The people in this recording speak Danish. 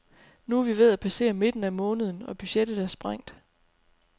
Nu er vi ved at passere midten af måneden og budgettet er sprængt.